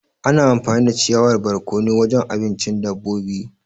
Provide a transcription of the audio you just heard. Ana amfani da ciyawar barkono wajen abincin dabobi.